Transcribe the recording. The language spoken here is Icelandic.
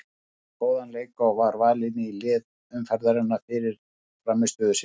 Eiður átti góðan leik og var valinn í lið umferðarinnar fyrir frammistöðu sína.